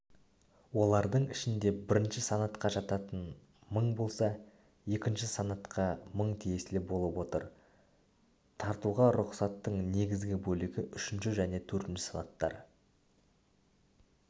олардың ішінде бірінші санатқа жататыны мың болса екінші санатқа мың тиесілі болып отыр тартуға рұқсаттың негізгі бөлігі үшінші және төртінші санаттар